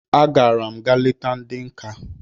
I gara'm ga leta ndi nka